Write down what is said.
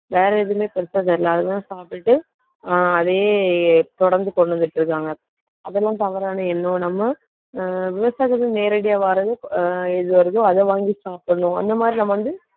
வேற எதுவுமே பெருசா தெரியலை. அதுதான் சாப்பிட்டுட்டு ஆஹ் அதே தொடர்ந்து கொண்டு வந்துட்டு இருக்காங்க. அதெல்லாம் தவறான எண்ணம். நம்ம ஆஹ் விவசாயிகள்ட்ட இருந்து நேரடியா வர்றது, ஆஹ் எது வருதோ, அதை வாங்கி சாப்பிடணும். அந்த மாதிரி நம்ம வந்து